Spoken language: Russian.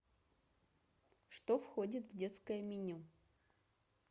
что входит в детское меню